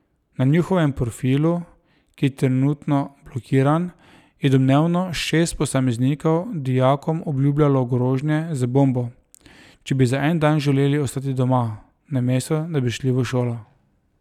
Na njihovem profilu, ki je trenutno blokiran, je domnevno šest posameznikov dijakom obljubljalo grožnje z bombo, če bi za en dan želeli ostati doma, namesto da bi šli v šolo.